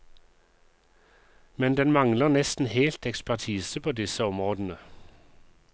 Men den mangler nesten helt ekspertise på disse områdene.